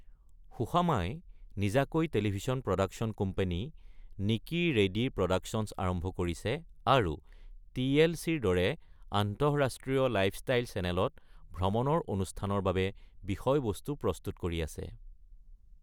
সুশামাই নিজাকৈ television production company নিকি ready productions আৰম্ভ কৰিছে আৰু টি.এল.চি.-ৰ দৰে আন্তঃৰাষ্ট্ৰীয় লাইফষ্টাইল চেনেলত ভ্ৰমনৰ অনুষ্ঠানৰ বাবে বিষয়বস্তু প্ৰস্তুত কৰি আছে।